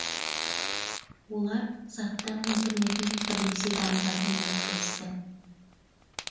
олар заттар интернетін бірлесе дамытатын болып келісті